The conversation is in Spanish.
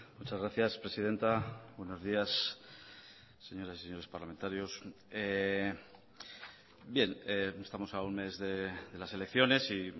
muchas gracias presidenta buenos días señoras y señores parlamentarios bien estamos a un mes de las elecciones y